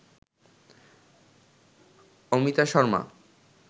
Amita Sharma